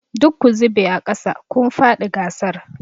Duk ku zube aƙasa! kun faɗi gasar.